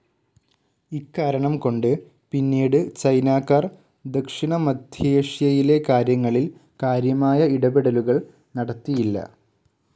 ഇക്കാരണം കൊണ്ട് പിന്നീട് ചൈനാക്കാർ ദക്ഷിണമധ്യേഷ്യയിലെ കാര്യങ്ങളിൽ കാര്യമായ ഇടപെടലുകൾ നടത്തിയില്ല.